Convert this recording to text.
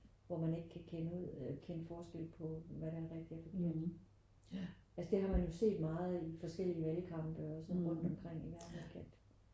Hvor man ikke kan kende ud kende forskel på hvad der er rigtigt og forkert. Altså det har man jo set meget i forskellige valgkampe og sådan rundt omkring i verden ikke at